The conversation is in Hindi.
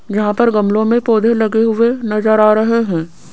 यहां पर गमलो में पौधे लगे हुए नजर आ रहे हैं।